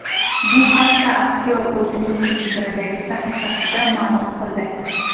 Bu haqda aktyor o‘zining Twitter’dagi sahifasida ma’lum qildi .